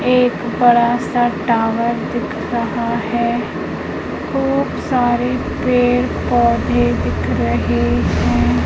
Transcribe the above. एक बड़ा सा टावर दिख रहा है खूब सारे पेड़ पौधे दिख रहे हैं।